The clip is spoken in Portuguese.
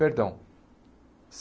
Perdão.